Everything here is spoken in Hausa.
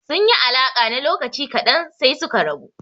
Sun yi alaƙa na lokaci ƙadan sai suka rabu.